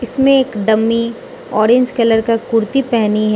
इसमें एक dummy orange colour का कुर्ती पहनी है।